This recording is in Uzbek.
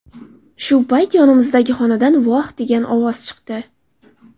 Shu payt yonimizdagi xonadan ‘voh’ degan ovoz chiqdi.